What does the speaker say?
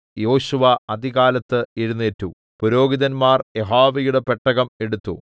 യോശുവ അതികാലത്ത് എഴുന്നേറ്റു പുരോഹിതന്മാർ യഹോവയുടെ പെട്ടകം എടുത്തു